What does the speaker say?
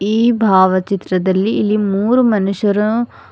ಈ ಭಾವಚಿತ್ರದಲ್ಲಿ ಇಲ್ಲಿ ಮೂರು ಮನುಷ್ಯರ--